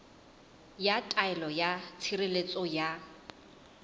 ya taelo ya tshireletso ya